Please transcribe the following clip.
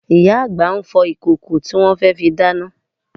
Ìyá àgbà ń fọ ìkòkò tí wọn fẹ́ fi dáná